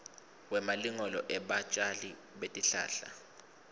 wemalungelo ebatjali betihlahla